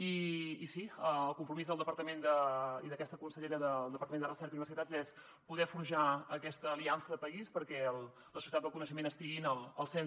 i sí el compromís del departament i d’aquesta con·sellera del departament de recerca i universitats és poder forjar aquesta aliança de país perquè la societat del coneixement estigui al centre